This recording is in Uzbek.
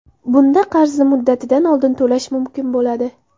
Bunda qarzni muddatidan oldin to‘lash mumkin bo‘ladi.